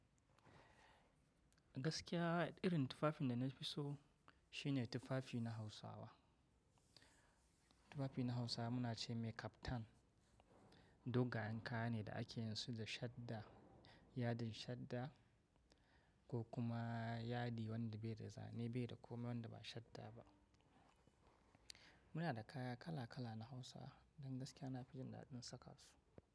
Gaskiya irin tufafin da na fi so shine tufafi na Hausawa. Tufafi na Hausawa muna ce mai kaftan, dogayen kayane da akeyinsu da shadda, yadin shadda ko kuma yadi wanda bai da zane bai da komai wanda ba shadda ba. Muna da kaya kala kala na Hausa, don gaskiya na fi jin daɗin saka su.